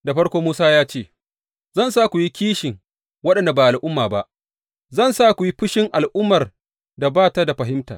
Da farko, Musa ya ce, Zan sa ku yi kishin waɗanda ba al’umma ba; zan sa ku yi fushin al’ummar da ba ta da fahimta.